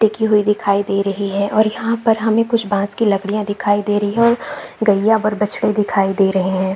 टिकी हुवी दिखाई दे रही है और यहाँ पर हमे कुछ बाज़ की लकडिया दिखाई दे रही है और गैया और बछड़ा दिखाई दे रहे है।